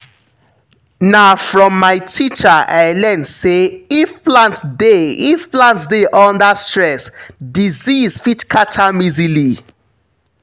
na from my teacher i learn say if plant dey if plant dey under stress disease fit catch am easily.